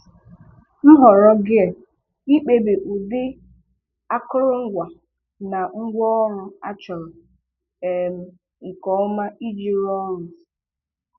Nhọrọ Gear-Ịkpebi ụdị akụrụngwa na ngwaọrụ achọrọ um nke ọma iji rụọ ọrụ.